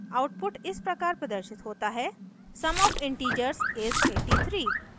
output इस प्रकार प्रदर्शित होता है: sum of integers is 83